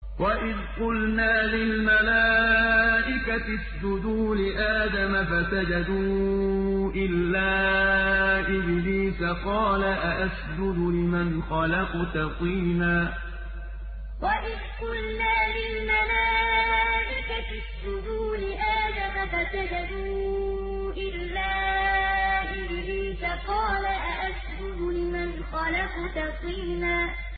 وَإِذْ قُلْنَا لِلْمَلَائِكَةِ اسْجُدُوا لِآدَمَ فَسَجَدُوا إِلَّا إِبْلِيسَ قَالَ أَأَسْجُدُ لِمَنْ خَلَقْتَ طِينًا وَإِذْ قُلْنَا لِلْمَلَائِكَةِ اسْجُدُوا لِآدَمَ فَسَجَدُوا إِلَّا إِبْلِيسَ قَالَ أَأَسْجُدُ لِمَنْ خَلَقْتَ طِينًا